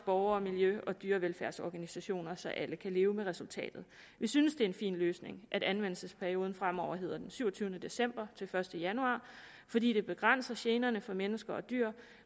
borgere miljø og dyrevelfærdsorganisationer så alle kan leve med resultatet vi synes det er en fin løsning at anvendelsesperioden fremover hedder den syvogtyvende december til første januar fordi det begrænser generne for mennesker og dyr